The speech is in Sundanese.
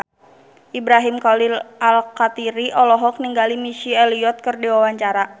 Ibrahim Khalil Alkatiri olohok ningali Missy Elliott keur diwawancara